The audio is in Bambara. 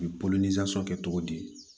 U bɛ kɛ cogo di